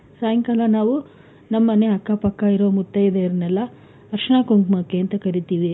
ಸಾಯಂಕಾಲ ನಾವು ನಮ್ಮನೆ ಅಕ್ಕ ಪಕ್ಕ ಇರೋ ಮುತ್ತೈದೆಯರ್ ನೆಲ್ಲ ಅರಿಶಿಣ ಕುಂಕುಮಕ್ಕೆ ಅಂತ ಕರೀತೀವಿ.